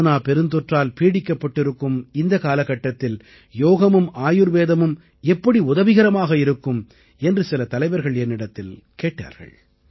corona பெருந்தொற்றால் பீடிக்கப்பட்டிருக்கும் இந்த காலட்டத்தில் யோகமும் ஆயுர்வேதமும் எப்படி உதவிகரமாக இருக்கும் என்று சில தலைவர்கள் என்னிடத்தில் கேட்டார்கள்